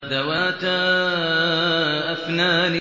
ذَوَاتَا أَفْنَانٍ